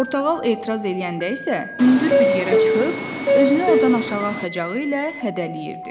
Portağal etiraz eləyəndə isə hündür bir yerə çıxıb özünü ordan aşağı atacağı ilə hədələyirdi.